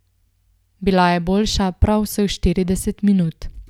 Bila je boljša prav vseh štirideset minut.